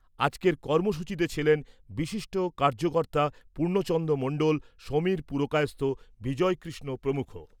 আজকের কর্মসূচিতে ছিলেন বিশিষ্ট কার্যকর্তা পূর্ণচন্দ্র মন্ডল, সমীর পুরকায়স্থ, বিজয়কৃষ্ণ প্ৰমুখ।